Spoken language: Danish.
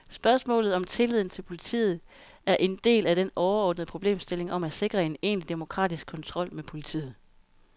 Spørgsmålet om tilliden til politiet er en del af den overordnede problemstilling om at sikre en egentlig demokratisk kontrol med politiet.